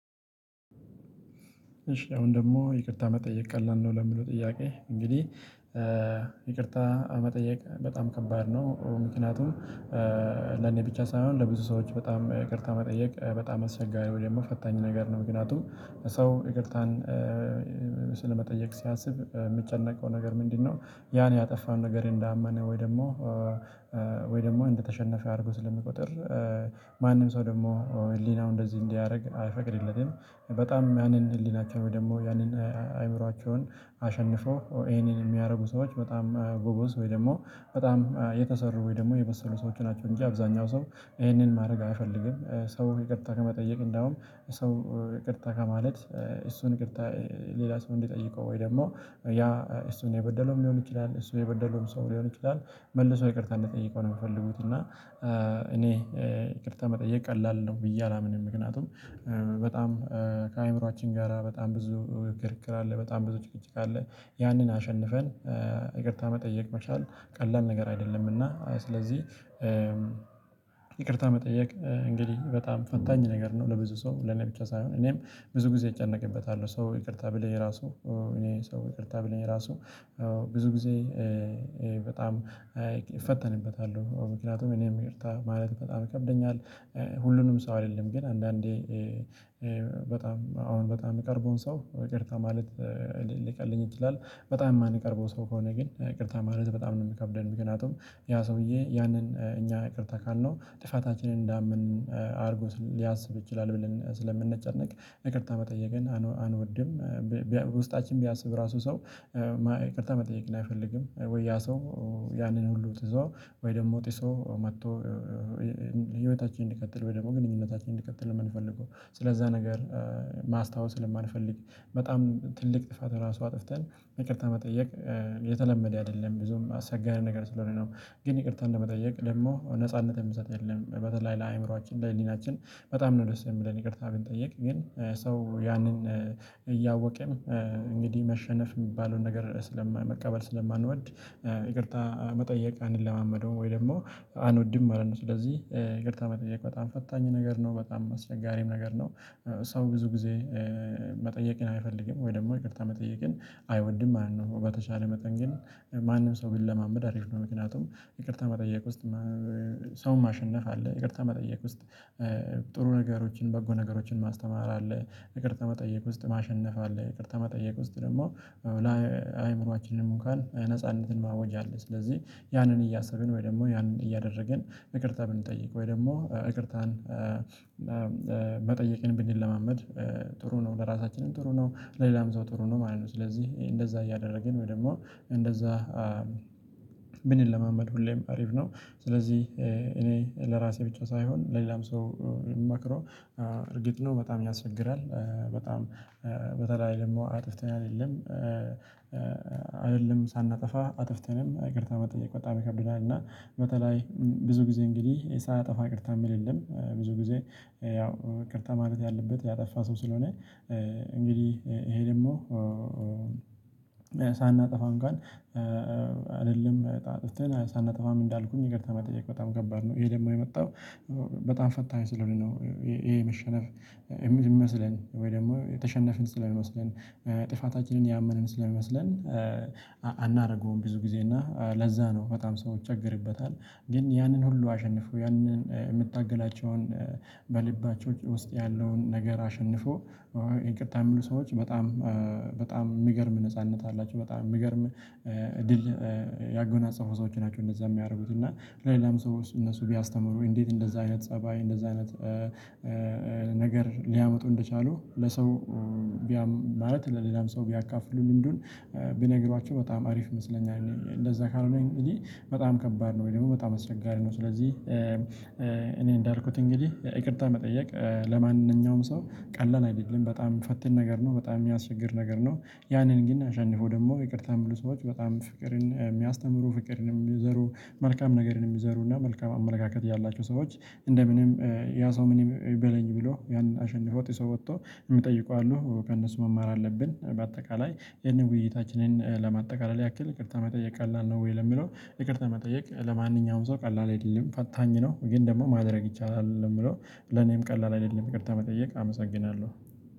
እሺ አሁን ደግሞ፤ "ይቅርታ መጠየቅ ቀላል ነው?" ለሚለው ጥያቄ፤ እንግዲህ ይቅርታ መጠየቅ በጣም ከባድ ነው። ምክንያቱም፤ ለኔ ብቻ ሳይሆን ለብዙ ሰዎች በጣም ይቅርታ መጠየቅ በጣም አስቸጋሪ ወይም ደግሞ ፈታኝ ነገር ነው። ምክንያቱም ሰው ይቅርታን ስለመጠየቅ ሲያስብ የሚጨነቀው ነገር ምንድነው? ያን ያጠፋን ነገር እንዳመነ፤ ወይ ደግሞ ወይ ደግሞ እንደተሸነፈ አድርጎ ስለሚቆጥር፤ ማንም ሰው ደግሞ ህሊናው እንደዚህ እንዲያደርግ አይፈቅድለትም። በጣም ያንን ህሊናቸውን ወይም ደግሞ ያንን አእምሮአቸውን አሸንፈው ይሄንን የሚያደርጉ ሰዎች በጣም ቦቦስ ወይ ደግሞ በጣም የተሰሩ ወይ ደግሞ የበሰሉ ሰዎች ናቸው፤ እንጂ አብዛኛው ሰው ይሄንን ማድረግ አይፈልግም። ሰው ይቅርታ ከመጠየቅ እንደውም ሰው ይቅርታ ከማለት፤ እሱን ይቅርታ ሌላ ሰው እንዲጠይቀው ወይ ደግሞ ያ እሱን የበደለውም ሊሆን ይችላል እሱን የበደለውም ሰው ሊሆን ይችላል መልሰው ይቅርታ እንዲጠየቀው ነው የምፈልጉት። እና እኔ ይቅርታ መጠየቅ ቀላል ነው፤ ብዬ አላምንም። ምክንያቱም በጣም ከአእምሮአችን ጋራ በጣም ብዙ ክርክር አለ በጣም ብዙ ጭቅጭቅ አለ። ያንን አሸንፈን ይቅርታ መጠየቅ መቻል ቀላል ነገር አይደለም። እና ስለዚህ ይቅርታ መጠየቅ እንግዲህ በጣም ፈታኝ ነገር ነው። ለብዙ ሰው ለኔ ብቻ ሳይሆን፤ እኔም ብዙ ጊዜ እጨነቅበታለሁ ሰው ይቅርታ ብለኝ ራሱ እኔ ሰው ይቅርታ ብለኝ ራሱ ብዙ ጊዜ በጣም እፈተንበታለው ምክንያቱም እኔም ይቅርታ ማለት በጣም ይከብደኛል። ሁሉንም ሰው አይደለም ግን አንዳንዴ በጣም አሁን በጣም የሚቀርበውን ሰው ይቅርታ ማለት ሊቀለኝ ይችላል። በጣም የማንቀርበው ሰው ከሆነ ግን ይቅርታ ማለት በጣም ነው የሚከብደን። ምክንያቱም ያ ሰውዬ ያንን እኛ ይቅርታ ካልነው ጥፋታችንን እንዳመን አድርጎ ሊያስብ ይችላል ብለን ስለምንጨነቅ ይቅርታ መጠየቅን አንወድም። ውስጣችን ቢያስብ ራሱ ሰው ይቅርታ መጠየቅን አይፈልግም። ወይ ያ ሰው ያንን ሁሉ ትቶ ወይ ደግሞ ጥሶ መጥቶ ህይወታችንን እንዲቀጥል ወይ ደግሞ ግንኙነታችንን እንዲቀጥል የምንፈልገው ስለዛ ነገር ማስታወስ ስለማንፈልግ በጣም ትልቅ ጥፋት ራሱ አጥፍተን ይቅርታ መጠየቅ የተለመደ አይደለም ብዙም አስቸጋሪ ነገር ስለሆነ ነው። ግን ይቅርታ እንደመጠየቅ ደግሞ ነጻነት የሚሰጥ የለም በተለይ ለአእምሮአችን ለህሊናችን በጣም ነው ደስ የሚለን ይቅርታ ብንጠየቅ። ግን ሰው ያንን እንግዲህ መሸነፍ የሚባለውን ነገር ስለማንቀበል ስለማንወድ ይቅርታ መጠየቅ አንለማመደውም፤ ወይ ደግሞ አንወድም ማለት ነው። ስለዚህ ይቅርታ መጠየቅ በጣም ፈታኝ ነገር ነው። በጣም አስቸጋሪም ነገር ነው። ሰው ብዙ ጊዜ መጠየቅን አይፈልግም። ወይ ደግሞ ይቅርታ መጠየቅን አይወድም ማለት ነው። በተሻለ መጠን ግን ማንም ሰው ቢለማመድ አሪፍ ነው። ምክንያቱም ይቅርታ መጠየቅ ውስጥ ሰውን ማሸነፍ አለ። ይቅርታ መጠየቅ ውስጥ ጥሩ ነገሮችን በጎ ነገሮችን ማስተማር አለ። ይቅርታ መጠየቅ ውስጥ ማሸነፍ አለ። ይቅርታ መጠየቅ ውስጥ ደግሞ ለአእምሮአችንም እንኳን ነጻነትን ማወጅ አለ። ስለዚህ ያንን እያሰብን ወይ ደግሞ ያንን እያደረግን ይቅርታ ብንጠይቅ። ወይ ደግሞ ይቅርታን መጠየቅን ብንለማመድ ጥሩ ነው። ለራሳችንም ጥሩ ነው። ለሌላም ሰው ጥሩ ነው ማለት ነው። ስለዚህ እንደዛ እያደረግን ወይ ደግሞ እንደዛ ምንለማመድ ሁሌም አሪፍ ነው። ስለዚህ እኔ ለራሴ ብቻ ሳይሆን ለሌላም ሰው እርግጥ ነው በጣም ያስቸግራል በጣም በተለይ ደግሞ አጥፍተን አይደለም፤ አይደለም ሳናጠፋ አጥፍተንም ይቅርታ መጠየቅ በጣም ይከብደናል። እና በተለይ ብዙ ጊዜ እንግዲህ ሳያጠፋ ይቅርታ የሚል የለም ብዙ ጊዜ ያው ይቅርታ ማለት ያለበት ያጠፋ ሰው ስለሆነ እንግዲህ ይሄ ደግሞ ሳናጠፋ እንኳን ጋር አይደለም አጥፍተን ሳናጠፋም እንዳልኩኝ ይቅርታ መጠየቅ በጣም ከባድ ነው። ይሄ ደግሞ የመጣው በጣም ፈታኝ ስለሆነ ነው። ይሄ መሸነፍ ይመስለን ወይ ደግሞ የተሸነፍን ስለሚመስለን ጥፋታችንን ያመንን ስለሚመስለን አናደርገውም ብዙ ጊዜ እና ለዛ ነው በጣም ሰዎች ይቸገርበታል። ግን ያንን ሁሉ አሸንፈው ያንን የምታገላቸውን በልባቸው ውስጥ ያለውን ነገር አሸንፎ ይቅርታ የሚሉ ሰዎች በጣም በጣም የሚገርም ነጻነት አላቸው። በጣም የሚገርም ድል ያጎናጸፉ ሰዎች ናቸው እንደዛ የሚያደርጉት። እና ለሌላም ሰዎች እነሱ ቢያስተምሩ እንዴት እንደዛ አይነት ፀባይ እንደዛ አይነት ነገር ሊያመጡ እንደቻሉ ለሰው ቢያም ማለት ለሌላም ሰው ቢያካፍሉ ልምዱን ቢነግሯቸው በጣም አሪፍ ይመስለኛል። እንደዛ ካልሆነ እኔ በጣም ከባድ ነው ወይ ደግሞ በጣም አስቸጋሪ ነው። ስለዚህ እኔ እንዳልኩት እንግዲህ ይቅርታ መጠየቅ ለማንኛውም ሰው ቀላል አይደለም። በጣም ፈታኝ ነገር ነው በጣም የሚያስቸግር ነገር ነው። ያንን ግን አሸንፎ ደግሞ ይቅርታ የሚሉ ሰዎች በጣም ፍቅርን የሚያስተምሩ ፍቅርንም የሚዘሩ መልካም ነገርንም ይዘሩ እና መልካም አመለካከት ያላቸው ሰዎች እንደምንም ያ ሰው ምን ይበለኝ ብሎ ያንን አሸንፎ ጥሰው ወጥቶ የሚጠይቁ አሉ። ከእነሱ መማር አለብን። በአጠቃላይ ይሄንን ውይይታችንን ለማጠቃለል ያክል "ይቅርታ መጠየቅ ቀላል ነው ወይ?" ለሚለው ይቅርታ መጠየቅ ለማንኛውም ሰው ቀላል አይደለም ፈታኝ ነው። ግን ደግሞ ማድረግ ይቻላል ነው የምለው ለኔም ቀላል አይደለም ይቅርታ መጠየቅ አመሰግናለሁ።